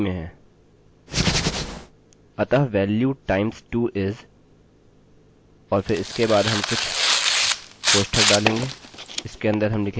अतः value times 2 is और फिर इसके बाद हम कुछ कोष्ठक डालेंगे इसके अन्दर हम लिखेंगे value times 2